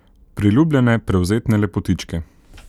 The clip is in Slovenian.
Priljubljene prevzetne lepotičke.